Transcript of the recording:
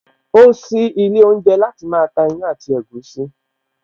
O sí ilé oúnjẹ láti máa ta ìyàn àti ẹ̀gúsí